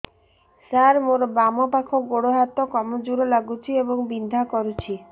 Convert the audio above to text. ସାର ମୋର ବାମ ପାଖ ଗୋଡ ହାତ କମଜୁର ଲାଗୁଛି ଏବଂ ବିନ୍ଧା କରୁଛି